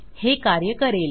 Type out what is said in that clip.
हे कार्य करेल